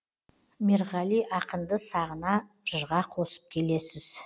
мерғали ақынды сағына жырға қосып келесіз